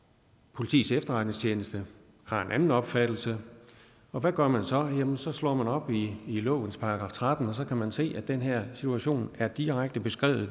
politiets efterretningstjeneste har en anden opfattelse og hvad gør man så så slår man op i lovens § tretten og så kan man se at den her situation er direkte beskrevet